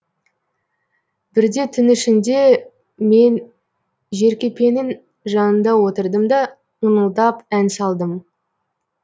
бірде түн ішінде мен жеркепенің жанында отырдым да ыңылдап ән салдым